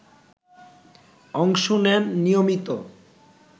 অংশ নেন নিয়মিত